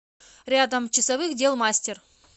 рядом часовых дел мастер